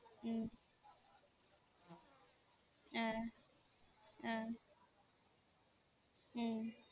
உம் அஹ் அஹ் உம்